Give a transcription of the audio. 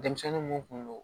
Denmisɛnnin mun kun don